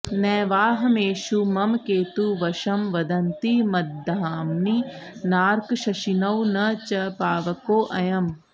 नैवाहमेषु मम केतुवशं वदन्ति मद्धाम्नि नार्कशशिनौ न च पावकोऽयम्